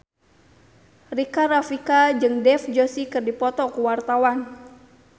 Rika Rafika jeung Dev Joshi keur dipoto ku wartawan